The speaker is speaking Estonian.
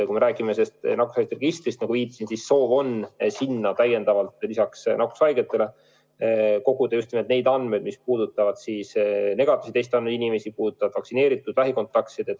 Kui me räägime nakkushaiguste registrist, siis nagu ma viitasin, soov on sinna täiendavalt lisaks nakkushaigetele koguda just nimelt neid andmeid, mis puudutavad ka negatiivse testi andnud inimesi ja vaktsineeritud lähikontaktseid.